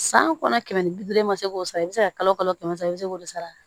San kɔnɔ kɛmɛ ni bi duuru i ma se k'o sara i bɛ se ka kalo kalo kɛmɛ sara i bɛ se k'o sara